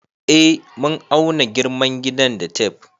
Eh mun auna girman gidan da tef